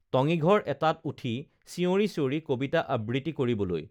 টঙীঘৰ এটাত উঠি চিঞৰি চিঞৰি কবিতা আবৃত্তি কৰিবলৈ